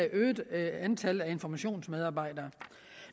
øgede antal informationsmedarbejdere